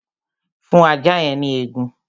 Fún ajá yẹn ní egun